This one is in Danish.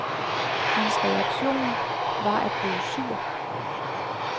Hans reaktion var at blive sur.